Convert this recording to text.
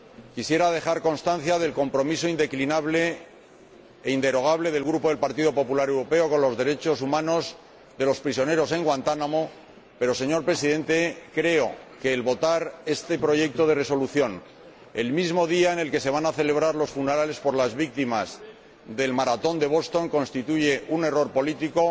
Quisiera dejar constancia del compromiso indeclinable e inderogable del Grupo del Partido Popular Europeo con los derechos humanos de los prisioneros en Guantánamo, pero, señor Presidente, creo que votar esta propuesta de Resolución común el mismo día en el que se van a celebrar los funerales por las víctimas del maratón de Boston constituye un error político,